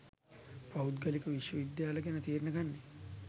පෞද්ගලික විශ්වවිද්‍යාල ගැන තීරණ ගන්නේ.